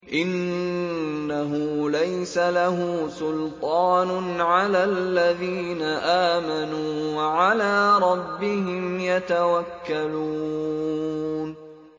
إِنَّهُ لَيْسَ لَهُ سُلْطَانٌ عَلَى الَّذِينَ آمَنُوا وَعَلَىٰ رَبِّهِمْ يَتَوَكَّلُونَ